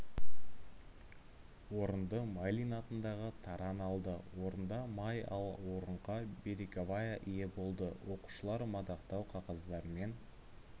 орынды майлин атындағы таран алды орынды май ал орынға береговая ие болды оқушылар мадақтау қағаздарымен